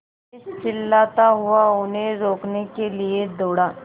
मैं चिल्लाता हुआ उन्हें रोकने के लिए दौड़ा